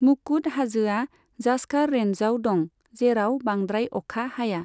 मुकुट हाजोआ जास्कार रेन्जआव दं, जेराव बांद्राय अखा हाया।